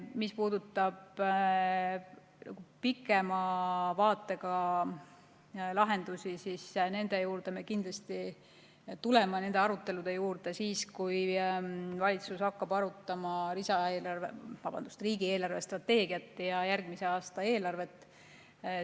Mis puudutab pikema vaatega lahendusi, siis nende arutelude juurde me kindlasti tuleme siis, kui valitsus hakkab arutama riigi eelarvestrateegiat ja järgmise aasta eelarvet.